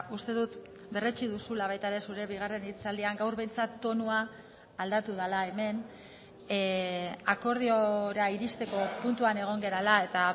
uste dut berretsi duzula baita ere zure bigarren hitzaldian gaur behintzat tonua aldatu dela hemen akordiora iristeko puntuan egon garela eta